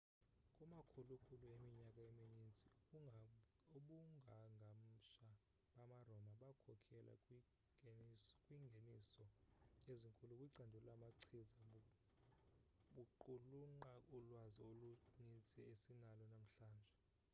kumakhulukhulu eminyaka emininzi, ubungangamsha bama roma bakhokhela kwingeniso ezinkulu kwicandelo lamachiza baqulunqa ulwazi olunintsi esinalo namhlanje